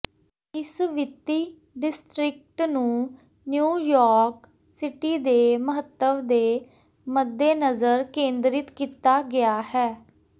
ਇਸ ਵਿੱਤੀ ਡਿਸਟ੍ਰਿਕਟ ਨੂੰ ਨਿਊਯਾਰਕ ਸਿਟੀ ਦੇ ਮਹੱਤਵ ਦੇ ਮੱਦੇਨਜ਼ਰ ਕੇਂਦਰਿਤ ਕੀਤਾ ਗਿਆ ਹੈ